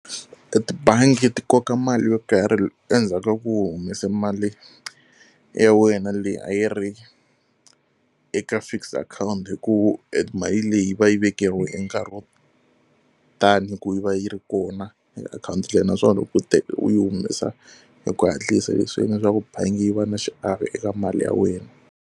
Etibangi ti koka mali yo karhi endzhaku ka ku u humesa mali ya wena leyi a yi ri eka fixed akhawunti hikuva emali leyi yi va yi yi vekeriwa nkarhi wo ta ni ku yi va yi ri kona akhawunti liya naswona loko u u yi humesa hi ku hatlisa leswi swi endla ku bangi yi va na xiave eka mali ya wena.